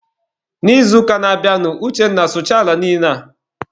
N'izuụka na-abịanụ, Uchenna sụchaa ala niile a!.